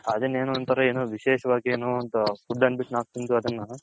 ಅದುನ್ ಏನೋ ಒಂತರ ವಿಶೇಷವಾಗಿ ಏನೋ ಒಂದ್ food ಅನ್ಬುಟು ನಾವ್ ತಿಂದ್ ಅದುನ್ನ